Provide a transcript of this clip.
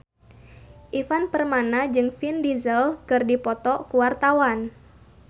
Ivan Permana jeung Vin Diesel keur dipoto ku wartawan